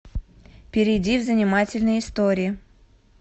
перейди в занимательные истории